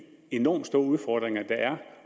enormt store udfordringer der er